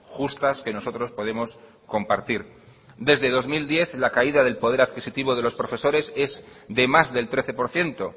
justas que nosotros podemos compartir desde dos mil diez la caída del poder adquisitivo de los profesores es de más del trece por ciento